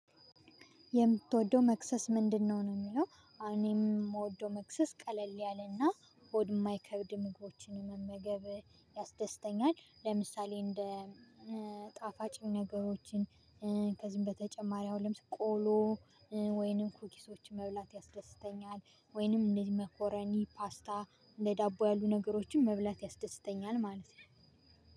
የምትወደው መክሰስ ምንድነው? ነው የሚለው እኔም የምወደው መክሰስ ቀለል ያለና ሆድ የማይከብድ ምግቦችን መመገብ ያስደስተኛል። ለምሳሌ እንደ ጣፋጭ ነገሮችን፤ ከዚህም በተጨማሪ አሁን ለምሳሌ ቆሎ ወይንም ኩኪሶችን መብላት ያስደስተኛል። ወይንም እንደዚህ መኮረኒ ፓስታ እንደዳቦ ያሉ ነገሮችን መብላት ያስደስተኛል ማለት ነው።